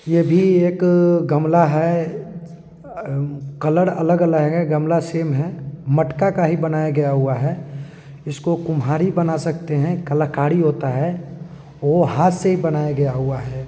ये भी एक गमला है एएए कलर अलग-अलग है गमला सेम है मटका का ही बनाया गया हुआ है। इसको कुम्हार ही बना सकते हैं कलाकारी होता हैऔर हाथ से ही बनाया गया हुआ है।